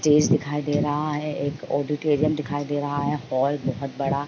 Stage दिखाई दे रहा है। एक ऑडिटोरियम दिखाई दे रहा है। हॉल बहोत बड़ा --